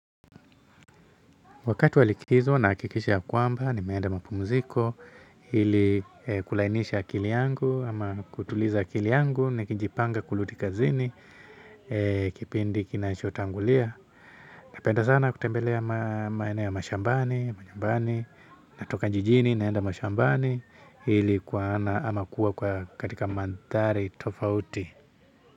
Wakati wa likizo nahakikisha ya kwamba nimeenda mapumziko ili kulainisha akili yangu ama kutuliza akili yangu nikinjipanga kurudi kazini kipindi kinachotangulia. Napenda sana kutembelea maeneo ya mashambani, manyumbani, natoka jijini naenda mashambani ili kuona ama kuwa katika mandhari tofauti.